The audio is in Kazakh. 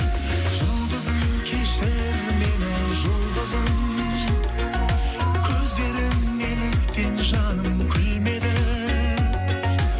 жұлдызым кешір мені жұлдызым көздерің неліктен жаным күлмеді